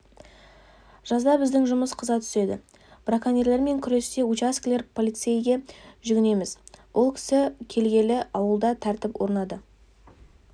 жазда біздің жұмыс қыза түседі браконьерлермен күресте учаскелік полицейге жүгінеміз ол кісі келгелі ауылда тәртіп орнады